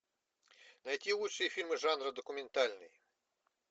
найти лучшие фильмы жанра документальный